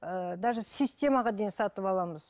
ыыы даже системаға дейін сатып аламыз